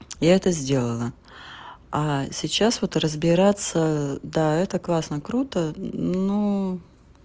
я это сделала а сейчас вот разбираться да это классно круто ну